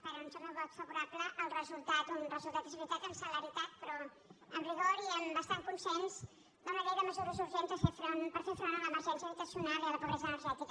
per anunciar el meu vot favorable al resultat un resultat és veritat amb celeritat però amb rigor i amb bastant consens d’una llei de mesures urgents per fer front a l’emergència habitacional i a la pobresa energètica